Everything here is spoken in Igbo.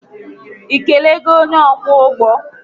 ị kelego onye ọkwọ ụgbọ?